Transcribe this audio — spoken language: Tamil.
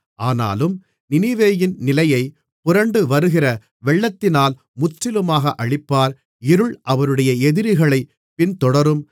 ஆனாலும் நினிவேயின் நிலையை புரண்டுவருகிற வெள்ளத்தினால் முற்றிலுமாக அழிப்பார் இருள் அவருடைய எதிரிகளைப் பின்தொடரும்